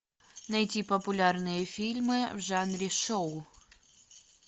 найти популярные фильмы в жанре шоу